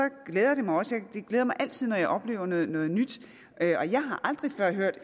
glæder det mig altid når jeg oplever noget noget nyt og jeg har aldrig før hørt